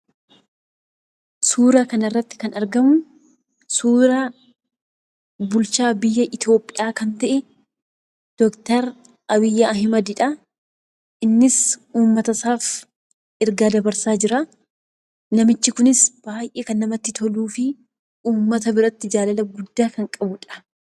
Suura kana irratti kan argamu, suura bulchaa biyya itoophiyaa ta'e, Doktor Abiyyi Ahimad dha. Innis uummata isaaf ergaa dabarsaa jiraa. Namichi kunis baayyee kan namatti toluu fi uummata biratti jaalala guddaa kan qabudha.